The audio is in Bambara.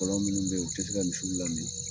Fɔlɔ minnu bɛ yen o u tɛ se ka misiw la min